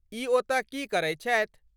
ई ओतय की करैत छथि?